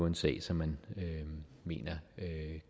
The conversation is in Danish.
en sag som man mener